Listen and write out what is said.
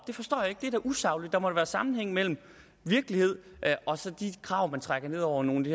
forstår jeg ikke det er da usagligt der må da være sammenhæng mellem virkelighed og de krav man trækker ned over nogle i